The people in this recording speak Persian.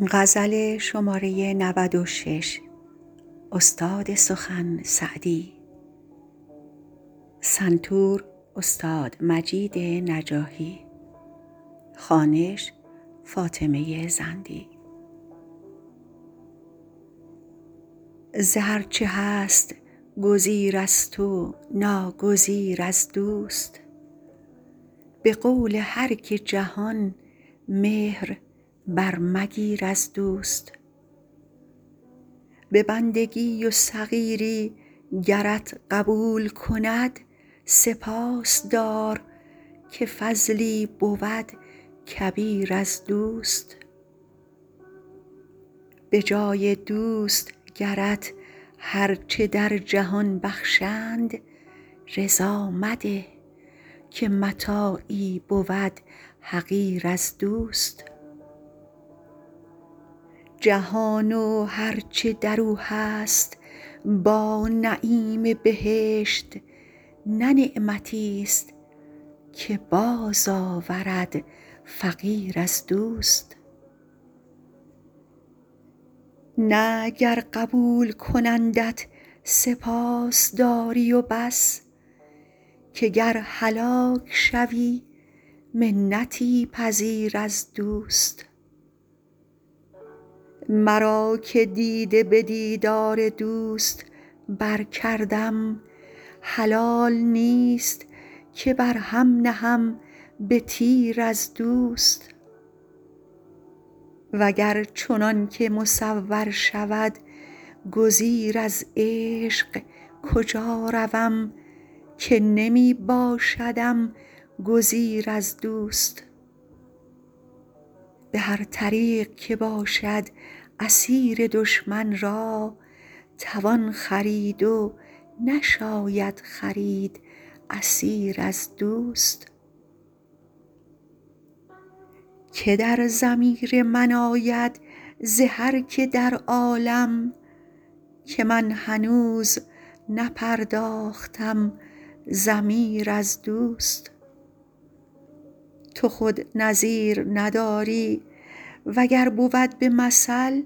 ز هر چه هست گزیرست و ناگزیر از دوست به قول هر که جهان مهر برمگیر از دوست به بندگی و صغیری گرت قبول کند سپاس دار که فضلی بود کبیر از دوست به جای دوست گرت هر چه در جهان بخشند رضا مده که متاعی بود حقیر از دوست جهان و هر چه در او هست با نعیم بهشت نه نعمتیست که بازآورد فقیر از دوست نه گر قبول کنندت سپاس داری و بس که گر هلاک شوی منتی پذیر از دوست مرا که دیده به دیدار دوست برکردم حلال نیست که بر هم نهم به تیر از دوست و گر چنان که مصور شود گزیر از عشق کجا روم که نمی باشدم گزیر از دوست به هر طریق که باشد اسیر دشمن را توان خرید و نشاید خرید اسیر از دوست که در ضمیر من آید ز هر که در عالم که من هنوز نپرداختم ضمیر از دوست تو خود نظیر نداری و گر بود به مثل